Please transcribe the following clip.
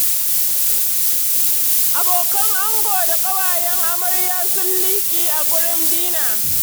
Abokan ango da ƙawayen amarya sun liƙi a wurin dina.